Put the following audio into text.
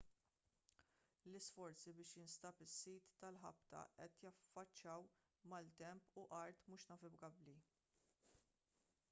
l-isforzi biex jinstab is-sit tal-ħabta qed jiffaċċjaw maltemp u art mhux navigabbli